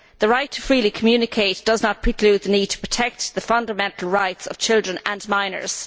The right to freely communicate does not preclude the need to protect the fundamental rights of children and minors.